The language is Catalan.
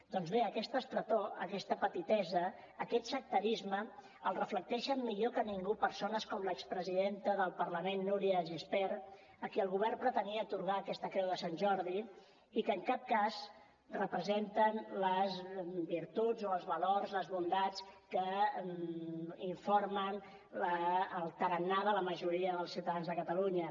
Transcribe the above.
doncs bé aquesta estretor aquesta petitesa aquest sectarisme el reflecteixen millor que ningú persones com l’expresidenta del parlament núria de gispert a qui el govern pretenia atorgar aquesta creu de sant jordi i que en cap cas representen les virtuts o els valors les bondats que informen el tarannà de la majoria dels ciutadans de catalunya